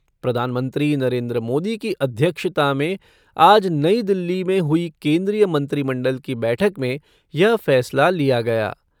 प्रधानमंत्री नरेन्द्र मोदी की अध्यक्षता में आज नई दिल्ली में हुई केन्द्रीय मंत्रिमंडल की बैठक में यह फैसला लिया गया।